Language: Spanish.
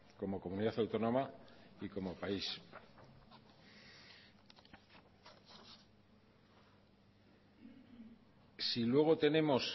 como comunidad autónoma y como país si luego tenemos